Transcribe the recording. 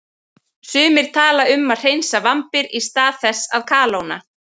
Sumir tala um að hreinsa vambir í stað þess að kalóna.